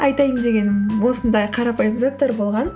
айтайын дегенім осындай қарапайым заттар болған